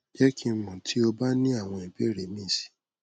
jẹ ki n mọ ti o ba ni awọn ibeere mi si